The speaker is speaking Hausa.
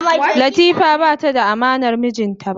Latifa bata da amanar mijinta ba.